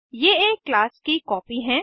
ये एक क्लास की कॉपी हैं